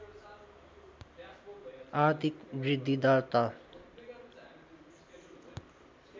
आर्थिक वृद्धिदर त